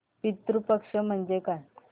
पितृ पक्ष म्हणजे काय